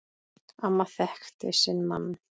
Amma þekkti sinn mann.